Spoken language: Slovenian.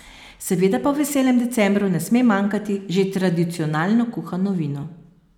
Seveda pa v veselem decembru ne sme manjkati že tradicionalno kuhano vino.